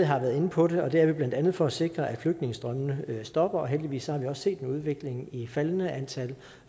har været inde på det og det er vi blandt andet for at sikre at flygtningestrømmene stopper heldigvis har vi også set en udvikling med et faldende antal